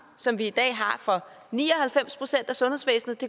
som vi i dag har for ni og halvfems procent af sundhedsvæsenet